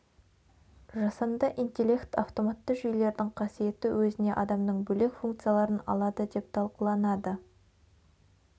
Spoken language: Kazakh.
жасанды интелект автоматты жүйелердің қасиеті өзіне адамның бөлек функцияларын алады деп талқыланады